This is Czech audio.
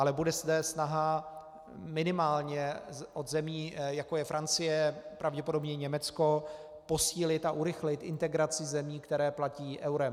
Ale bude zde snaha minimálně od zemí, jako je Francie, pravděpodobně Německo, posílit a urychlit integraci zemí, které platí eurem.